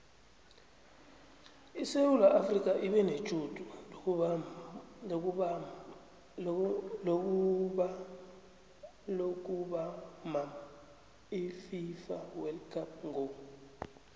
isewula afrika ibenetjhudu lokubamab ififa wold cup ngo